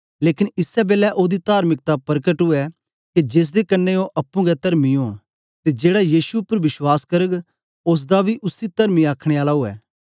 लेकन इसै बेलै ओदी तार्मिकता परकट ऊऐ के जेसदे कन्ने ओ अप्पुं गै तरमी ओंन ते जेड़ा यीशु उपर विश्वास करग ओसदा बी उसी तरमी आखने आला ऊऐ